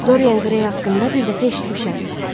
Dorian Gray haqqında bir dəfə eşitmişəm.